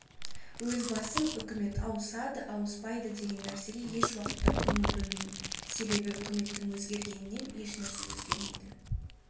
өз басым үкімет ауысады ауыспайды деген нәрсеге еш уақытта көңіл бөлмеймін себебі үкіметтің өзгергенінен ешнәрсе өзгермейді